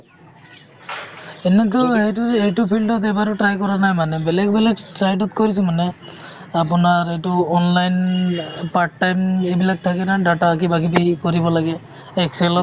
এনেইতো এইটো এইটো field ত এবাৰো try কৰা নাই মানে । বেলেগ বেলেগ side ত কৰিছোঁ মানে , আপোনাৰ এইটো online part time এইবিলাক থাকে না data কিবা কিবি কৰিব লাগে । excel ত